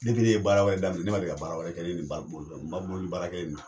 ne ye ka baara wɛrɛ daminɛ, ne ma deli ka baara wɛrɛ kɛ ni nin bake tɛ bake boli baara kelen in